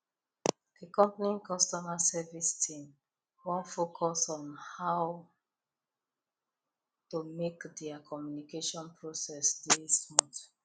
the company customer service team wan focus well on how to make their communication process dey smooth